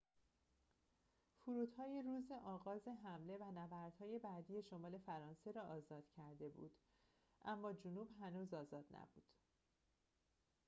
فرودهای روز آغاز حمله و نبردهای بعدی شمال فرانسه را آزاد کرده بود اما جنوب هنوز آزاد نبود